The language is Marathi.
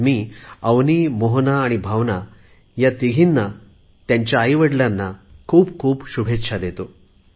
मी अवनि मोहना भावना या तीन मुलींना आणि त्यांच्या आईवडलांना खूप खूप शुभेच्छा देतो